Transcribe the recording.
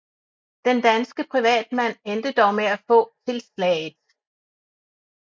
Den danske privatmand endte dog med at få tilslaget